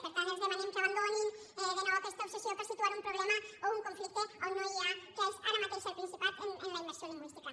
per tant els demanem que abandonin de nou aquesta obsessió per situar un problema o un conflicte on no n’hi ha que és ara mateix al principat en la immersió lingüística